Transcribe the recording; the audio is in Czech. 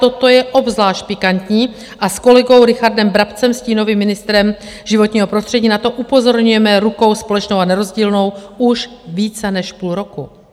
Toto je obzvlášť pikantní, a s kolegou Richardem Brabcem, stínovým ministrem životního prostředí, na to upozorňujeme rukou společnou a nerozdílnou už více než půl roku.